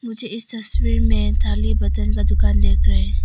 मुझे तस्वीर में थाली बर्तन का दुकान देख रहे हैं।